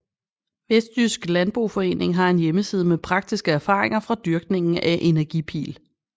Vestjysk Landboforening har en hjemmeside med praktiske erfaringer fra dyrkningen af energipil